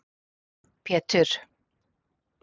Pétur